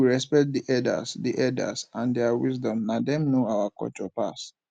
make we respect di elders di elders and their wisdom na dem know our culture pass